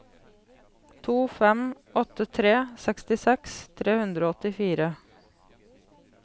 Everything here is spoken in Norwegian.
to fem åtte tre sekstiseks tre hundre og åttifire